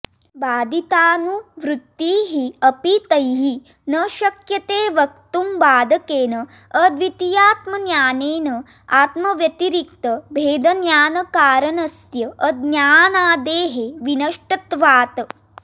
बाधितानुवृत्तिः अपि तैः न शक्यते वक्तुम् बाधकेन अद्वितीयात्मज्ञानेन आत्मव्यतिरिक्तभेदज्ञानकारणस्य अज्ञानादेः विनष्टत्वात्